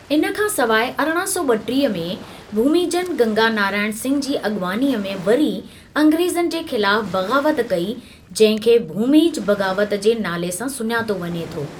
इन खां सवाइ अरिड़हं सौ ॿटीह में, भूमिजनि गंगा नारायण सिंह जी अॻवानीअ में वरी अंग्रेज़नि जे ख़िलाफ़ बग़ावत कई जंहिं खे भूमिज बग़ावत जे नाले सां सुञातो वञे थो।